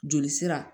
Joli sira